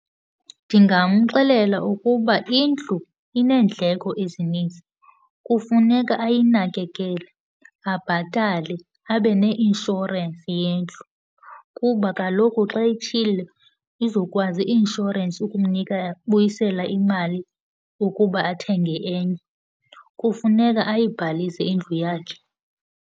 Ndingamxelela ukuba indlu ineendleko ezininzi. Kufuneka ayinakekele, abhatale, abe ne-insurance yendlu kuba kaloku xa itshile izokwazi i-insurance ukumnika buyisela imali ukuba athenge enye. Kufuneka ayibhalise indlu yakhe.